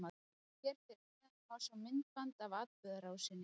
Hér fyrir neðan má sjá myndband af atburðarrásinni.